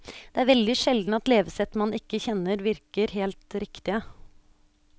Det er veldig sjelden at levesett man ikke kjenner virker helt riktige.